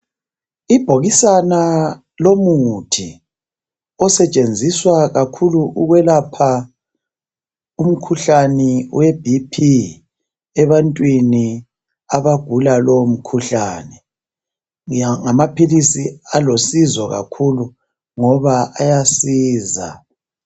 Ibhokisana lomuthi osetshenziswa kakhulu ukwelapha umkhuhlane we BP ebantwini abagula lowo mkhuhlane ngamaphilisi alosizo kakhulu ngoba ayasiza